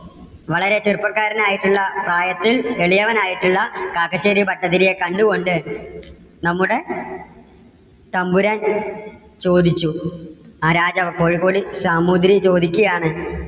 വളരെ ചെറുപ്പക്കാരൻ ആയിട്ടുള്ള പ്രായത്തിൽ വലിയവൻ ആയിട്ടുള്ള കാക്കശ്ശേരി ഭട്ടതിരിയെ കണ്ടുകൊണ്ട് നമ്മുടെ തമ്പുരാൻ ചോദിച്ചു ആ രാജാവ് കോഴിക്കോട് സാമൂതിരി ചോദിക്കുകയാണ്